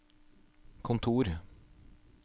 kontor